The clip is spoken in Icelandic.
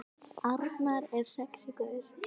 Arnar er sexí gaur.